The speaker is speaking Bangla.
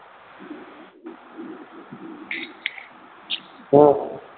হম